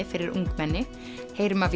fyrir ungmenni heyrum af